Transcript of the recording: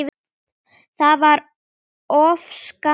Það var of skammur tími.